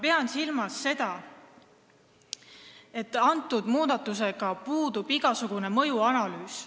Ma pean silmas seda, et selle muudatuse mõju kohta puudub igasugune analüüs.